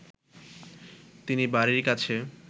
তিনি বাড়ির কাছে